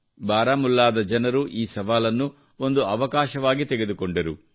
ಬಾರಾಮುಲ್ಲಾದ ಜನರು ಈ ಸವಾಲನ್ನು ಒಂದು ಅವಕಾಶವಾಗಿ ತೆಗೆದುಕೊಂಡರು